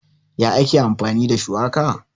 Ya ake amfani da shuwaka?